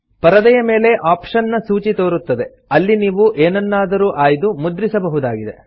ಪರದೆಯ ಮೇಲೆ ಆಪ್ಷನ್ ನ ಸೂಚಿ ತೋರುತ್ತದೆ ಅಲ್ಲಿ ನೀವು ಎನನ್ನಾದರೂ ಆಯ್ದು ಮುದ್ರಿಸ ಬಹುದಾಗಿದೆ